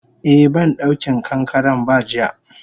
Eh bandauki kankaren ba jiya.